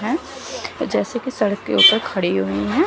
जैसा की सड़क के ऊपर खड़ी हुई है।